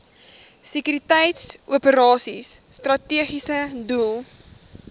sekuriteitsoperasies strategiese doel